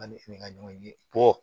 An ni ka ɲɔgɔn ye